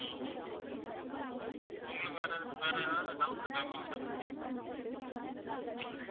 ஆஹ் ma'am உங்களுக்கு வேற ஏதா~ வேற ஏதாவது doubt இருக்கா ma'am இதை பத்தி